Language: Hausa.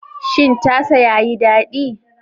Shin tasa yayi daɗi?